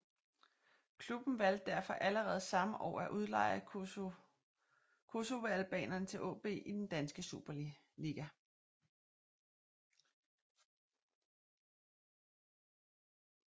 Klubben valgte derfor allerede samme år at udleje kosovoalbaneren til AaB i den danske Superliga